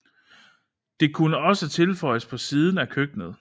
Det kunne også tilføjes på siden af køkkenet